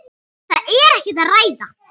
Það er ekkert að ræða.